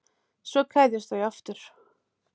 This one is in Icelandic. Svo kveðjast þau aftur.